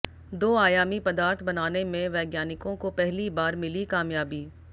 दो आयामी पदार्थ बनाने में वैज्ञानिकों को पहली बार मिली कामयाबी